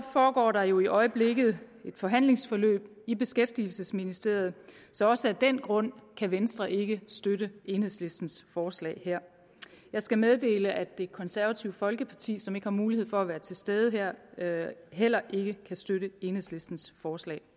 foregår der jo i øjeblikket et forhandlingsforløb i beskæftigelsesministeriet så også af den grund kan venstre ikke støtte enhedslistens forslag her og jeg skal meddele at det konservative folkeparti som ikke har mulighed for at være til stede heller ikke kan støtte enhedslistens forslag